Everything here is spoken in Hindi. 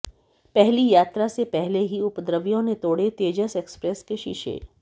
पहली यात्रा से पहले ही उपद्रवियों ने तोड़े तेजस एक्सप्रेस के शीशे